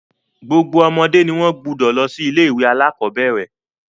Gbogbo ọmọdé ni wọ́n gbúdọ̀ lọ sí ilé-ìwé alákọ̀bẹ́ẹ́rẹ̀.